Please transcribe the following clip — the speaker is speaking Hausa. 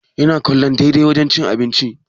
Yana kallon daidai wajen cin abinci